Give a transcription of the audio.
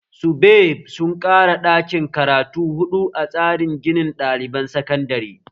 SUBEB sun ƙara daƙin karatu huɗu a tsarin ginin ɗaliban sakandare